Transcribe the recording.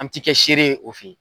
An tɛ kɛ seere ye o fɛ yen.